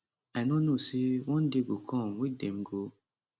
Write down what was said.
[blood donation] i no know say one day go come wey dem go